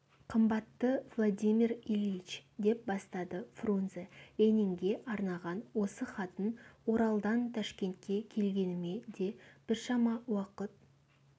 қымбатты владимир ильич деп бастады фрунзе ленинге арнаған осы хатын оралдан ташкентке келгеніме де біршама уақыт